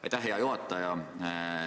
Aitäh, hea juhataja!